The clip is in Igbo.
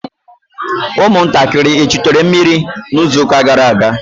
ụmụntakịrị echutere mmiri n'izuụka gara aga?